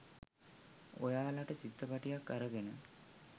ඔයාලට චිත්‍රපටියක් අරගෙන.